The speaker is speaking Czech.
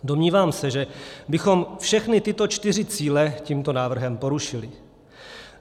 Domnívám se že, bychom všechny tyto čtyři cíle tímto návrhem porušili.